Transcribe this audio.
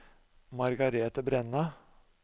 Margrethe Brenna